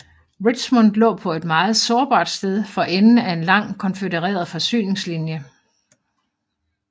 Richmond lå på et meget sårbart sted for enden af en lang konfødereret forsyningslinje